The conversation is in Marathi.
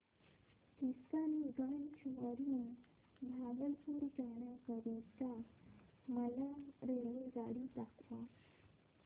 किशनगंज वरून भागलपुर जाण्या करीता मला रेल्वेगाडी दाखवा